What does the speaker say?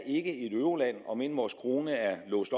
et euroland om end vores krone er låst